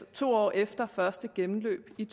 to år efter første gennemløb i